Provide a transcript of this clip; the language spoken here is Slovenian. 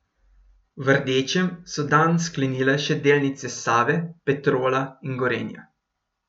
V rdečem so dan sklenile še delnice Save, Petrola in Gorenja.